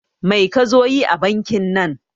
Mai kazo yi a bankin nan